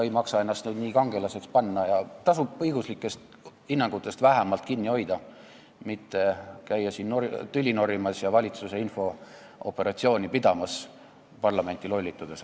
Ei maksa ennast nüüd nii kangelasena esitada ja tasub vähemalt õiguslikest hinnangutest kinni hoida, mitte käia siin tüli norimas ja valitsuse infooperatsiooni pidamas, parlamenti lollitades.